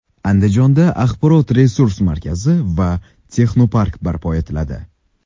Andijonda axborot-resurs markazi va texnopark barpo etiladi.